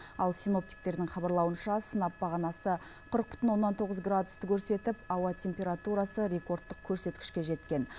ал синоптиктердің хабарлауынша сынап бағанасы қырық бүтін оннан тоғыз градусты көрсетіп ауа температурасы рекордтық көрсеткішке жеткен